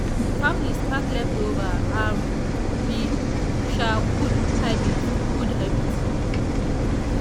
families pack leftover i'm be um good habit. good habit.